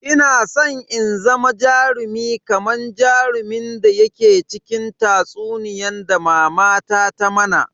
Ina san in zama jarumi kaman jarumin da yake cikin tatsuniyan da mama ta mana.